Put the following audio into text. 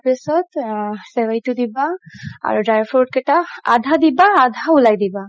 পিছত চেৱাইতো দিবা আৰু dry fruit কেইটা আধা দিবা আধা উলাই দিবা